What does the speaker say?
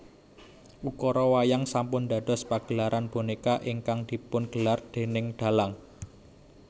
Ukara wayang sampun dados pagelaran bonéka ingkang dipungelar déning dhalang